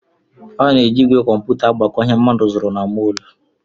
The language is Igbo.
A na-eji ígwè kọmputa agbakọ ihe mmadụ zụrụ na mọl